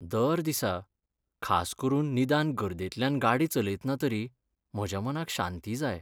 दर दिसा, खास करून निदान गर्देंतल्यान गाडी चलयतना तरी म्हज्या मनाक शांती जाय.